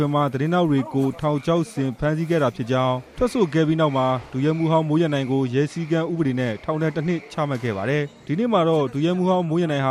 ရိုက်တာ သတင်းထောက်တွေကို ထောင်ချောက်ဆင်ဖမ်းဆီးခဲ့တာဖြစ်ကြောင်း တရားခွင်မှာ ပြောဆိုခဲ့တာကြောင့် ရဲစည်းကမ်းဥပဒေနဲ့ ထောင်ဒဏ် ၁ နှစ် ချမှတ်ခံရတဲ့ ဒုရဲမှူးဟောင်း မိုးရန်နိုင်ဟ